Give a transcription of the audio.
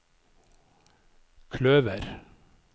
kløver